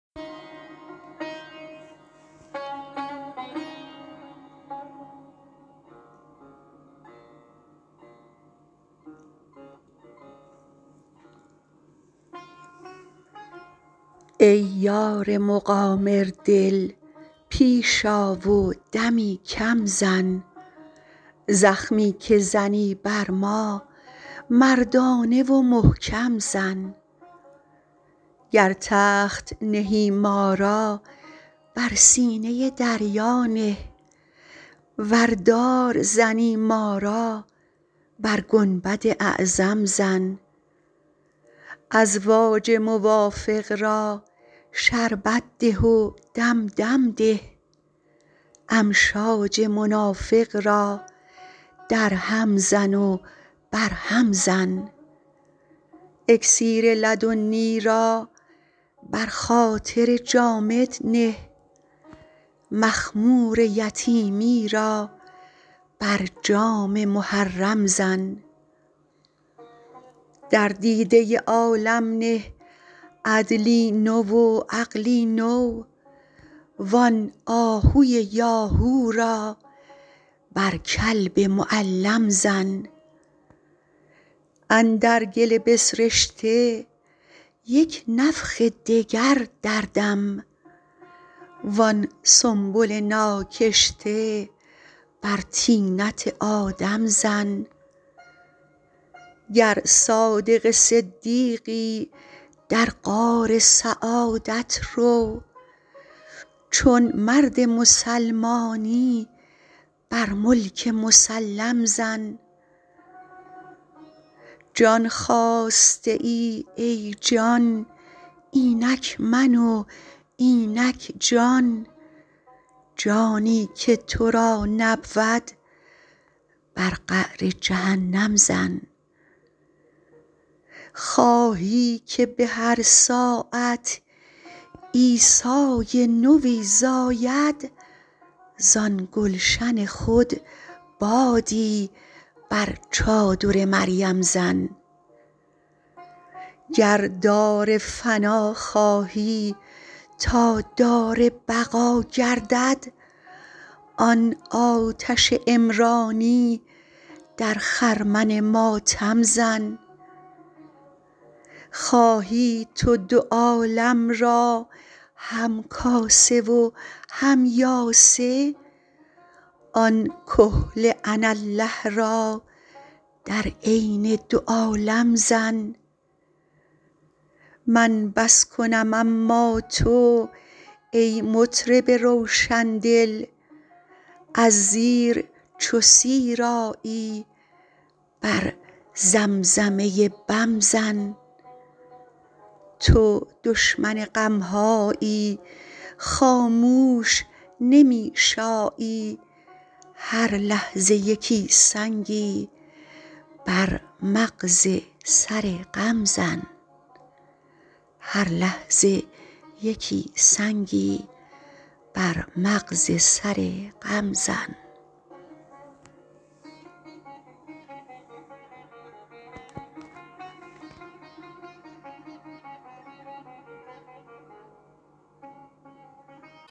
ای یار مقامردل پیش آ و دمی کم زن زخمی که زنی بر ما مردانه و محکم زن گر تخت نهی ما را بر سینه دریا نه ور دار زنی ما را بر گنبد اعظم زن ازواج موافق را شربت ده و دم دم ده امشاج منافق را درهم زن و برهم زن اکسیر لدنی را بر خاطر جامد نه مخمور یتیمی را بر جام محرم زن در دیده عالم نه عدلی نو و عقلی نو وان آهوی یاهو را بر کلب معلم زن اندر گل بسرشته یک نفخ دگر دردم وان سنبل ناکشته بر طینت آدم زن گر صادق صدیقی در غار سعادت رو چون مرد مسلمانی بر ملک مسلم زن جان خواسته ای ای جان اینک من و اینک جان جانی که تو را نبود بر قعر جهنم زن خواهی که به هر ساعت عیسی نوی زاید زان گلشن خود بادی بر چادر مریم زن گر دار فنا خواهی تا دار بقا گردد آن آتش عمرانی در خرمن ماتم زن خواهی تو دو عالم را همکاسه و هم یاسه آن کحل اناالله را در عین دو عالم زن من بس کنم اما تو ای مطرب روشن دل از زیر چو سیر آیی بر زمزمه بم زن تو دشمن غم هایی خاموش نمی شایی هر لحظه یکی سنگی بر مغز سر غم زن